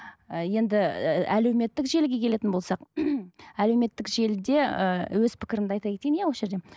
і енді ііі әлеуметтік желіге келетін болсақ әлеуметтік желіде ііі өз пікірімді айта кетейін иә осы жерде